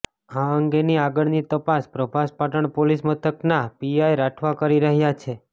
આ અંગેની આગળની તપાસ પ્રભાસ પાટણપોલીસ મથકના પીઆઇ રાઠવા કરી રહ્યા છે